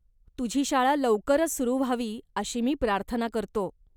तुझी शाळा लवकरच सुरू व्हावी अशी मी प्रार्थना करतो.